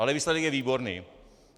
Ale výsledek je výborný.